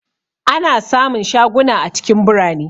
Ana sa mun shaguna a cikin birane